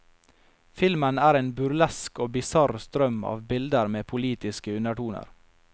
Filmen er en burlesk og bisarr strøm av bilder med politiske undertoner.